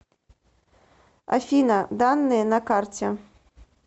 афина данные на карте